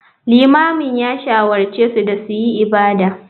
Limamin ya shawarce su da su yi ibada.